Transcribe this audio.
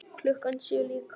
Klukkan sjö líka.